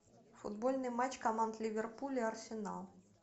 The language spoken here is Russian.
футбольный матч команд ливерпуль и арсенал